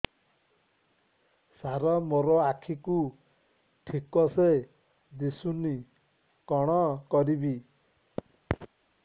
ସାର ମୋର ଆଖି କୁ ଠିକସେ ଦିଶୁନି କଣ କରିବି